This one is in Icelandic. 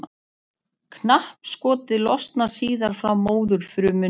Knappskotið losnar síðan frá móðurfrumunni.